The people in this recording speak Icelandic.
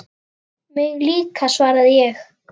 Mig líka svaraði ég.